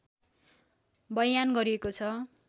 बयान गरिएको छ